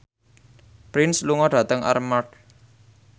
Prince lunga dhateng Armargh